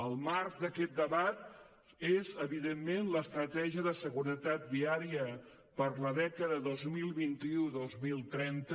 el marc d’aquest debat és evidentment l’estratègia de seguretat viària per a la dècada dos mil vint u dos mil trenta